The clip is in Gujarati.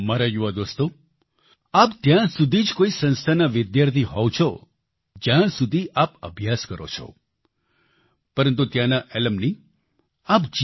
મારા યુવા દોસ્તો આપ ત્યાં સુધી જ કોઈ સંસ્થાના વિદ્યાર્થી હોવ છો જ્યાં સુધી આપ અભ્યાસ કરો છો પરંતુ ત્યાંના એલ્યુમની આપ